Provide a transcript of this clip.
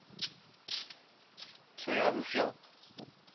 so ja hoeveel